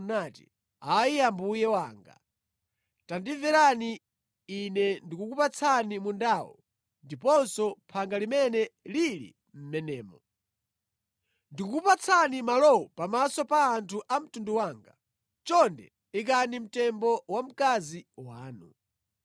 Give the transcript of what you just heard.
nati, “Ayi mbuye wanga tandimverani, ine ndikukupatsani mundawo ndiponso phanga limene lili mʼmenemo. Ndikukupatsani malowa pamaso pa anthu a mtundu wanga. Chonde ikani mtembo wamkazi wanu.”